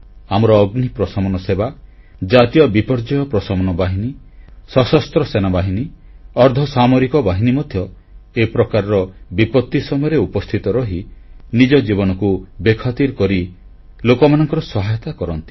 ଆମର ଅଗ୍ନି ପ୍ରଶମନ ସେବା ଜାତୀୟ ବିପର୍ଯ୍ୟୟ ପ୍ରଶମନ ବାହିନୀ ସଶସ୍ତ୍ର ସେନାବାହିନୀ ଅର୍ଦ୍ଧସାମରିକ ବାହିନୀ ମଧ୍ୟ ଏ ପ୍ରକାରର ବିପତି ସମୟରେ ଉପସ୍ଥିତ ରହି ନିଜ ଜୀବନକୁ ବେଖାତିର କରି ଲୋକମାନଙ୍କର ସହାୟତା କରନ୍ତି